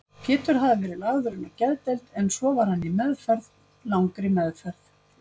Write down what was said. Pétur hafði verið lagður inn á geðdeild, en svo var hann í meðferð, langri meðferð.